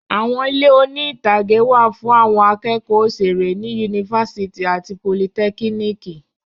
Àwọn ilé oní-ìtàgé wà fún àwọn akẹ́kọ̀ọ́ òṣèré ní yunifásítì àti politẹ́kíníkì.